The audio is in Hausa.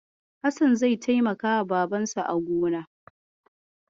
Hassan zai taimakawa Babansa a gona